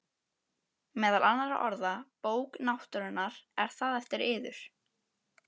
Meðal annarra orða: Bók náttúrunnar,- er það eftir yður?